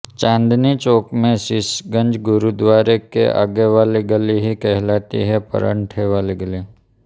चांदनी चौक में शीशगंज गुरूद्वारे के आगे वाली गली ही कहलाती है परांठे वाली गली